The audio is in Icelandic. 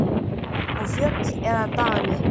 Og fjöll eða dali?